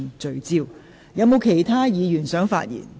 是否有其他議員想發言？